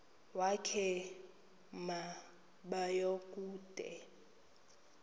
wakhe ma baoduke